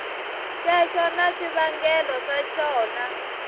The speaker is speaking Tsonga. xexo na swivangelo swa xona